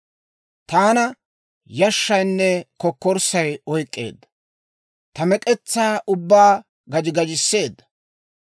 Taana yashshaynne kokkorssay oyk'k'eedda; ta mek'etsaa ubbaa gaji gajisseedda.